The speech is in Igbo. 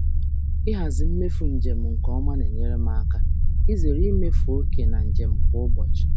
Ịhazi mmefu njem nke ọma na-enyere m aka izere imefu oke na njem kwa ụbọchị.